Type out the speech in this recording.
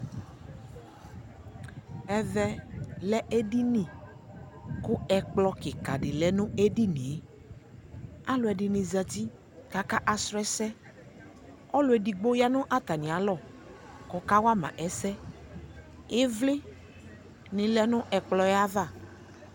Ɛvɛ lɛ edini kʋ ɛkplɔ kika dι lɛ nʋ edini yɛ Alʋɛdini zati ka akasrɔ ɛsɛ Ɔlʋ exigbo ya nʋ atami alɔ kʋ ɔkawa ma ɛsɛ Ivli ni lɛ ni ɛkplɔ yɛ ava